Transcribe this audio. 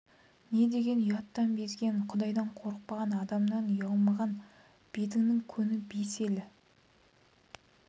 не деген ұяттан безген құдайдан қорықпаған адамнан ұялмаған бетіңнің көні бес елі